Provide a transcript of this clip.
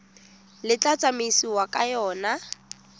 le tla tsamaisiwang ka yona